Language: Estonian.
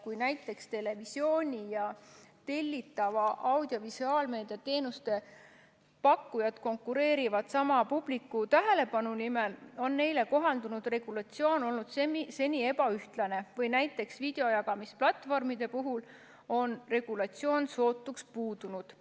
Kui näiteks televisiooni ja tellitava audiovisuaalmeedia teenuste pakkujad konkureerivad sama publiku tähelepanu nimel, on neile kohandunud regulatsioon olnud seni ebaühtlane ja näiteks videojagamisplatvormide puhul on regulatsioon sootuks puudunud.